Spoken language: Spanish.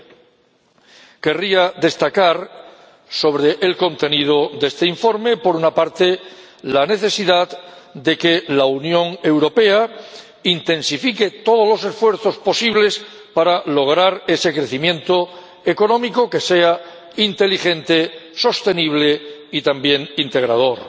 20. Querría destacar sobre el contenido de este informe, por una parte, la necesidad de que la Unión Europea intensifique todos los esfuerzos posibles para lograr ese crecimiento económico, que sea inteligente, sostenible y también integrador.